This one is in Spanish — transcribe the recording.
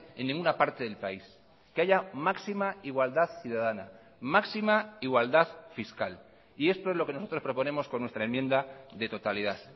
en ninguna parte del país que haya máxima igualdad ciudadana máxima igualdad fiscal y esto es lo que nosotros proponemos con nuestra enmienda de totalidad